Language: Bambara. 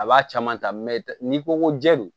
A b'a caman ta n'i ko ko jɛ don